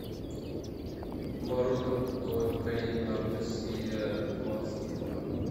боруто новое поколение наруто серия двадцать два